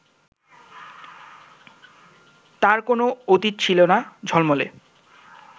তাঁর কোনও অতীত ছিল না ঝলমলে